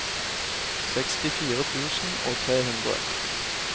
sekstifire tusen og tre hundre